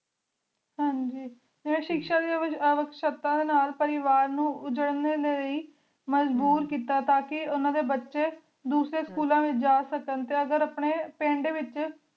ਹਨ ਜੀ ਆਯ ਸ਼ਿਖਸ਼ਾ ਡੀ ਵੇਚ ਅਵੇਖ ਸ਼ਾਖਤਾ ਨਾਲ ਨਾਲ ਪਰਿਵਾਰ ਨੂ ਉਜੇਰ੍ਲਾਈ ਮਜਬੂਰ ਕੀਤਾ ਟਾਕੀ ਉਨਾ ਡੀ ਬਚੀ ਦੋਸਾਰੀ ਸ੍ਚੂਲਾਂ ਡੀ ਵੇਚ ਜਾ ਸਕਣ ਅਗ੍ਹਰ ਅਪਨੀ ਪੰਡ ਵੇਚ